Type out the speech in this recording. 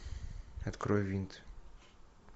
открой винт